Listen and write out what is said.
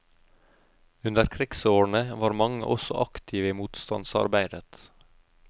Under krigsårene var mange også aktive i motstandsarbeidet.